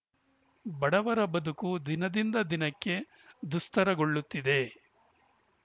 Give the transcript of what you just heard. ಬಡವರ ಬದುಕು ದಿನದಿಂದ ದಿನಕ್ಕೆ ದುಸ್ತರಗೊಳ್ಳುತ್ತಿದೆ